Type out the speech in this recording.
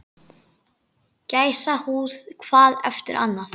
Gæsahúð hvað eftir annað